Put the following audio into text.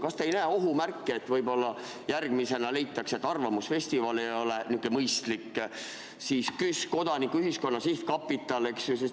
Kas te ei näe ohu märki, et võib-olla järgmisena leitakse, et arvamusfestival ei ole mõistlik ja siis juba Kodanikuühiskonna Sihtkapital, eks ju?